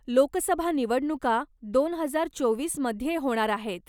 लोकसभा निवडणुका दोन हजार चोवीस मध्ये होणार आहेत.